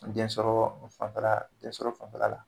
Densɔrɔ fanfɛla densɔrɔ fanfɛla la.